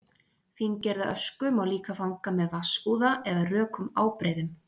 Fíngerða ösku má líka fanga með vatnsúða eða rökum ábreiðum.